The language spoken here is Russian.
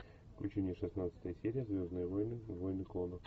включи мне шестнадцатая серия звездные войны войны клонов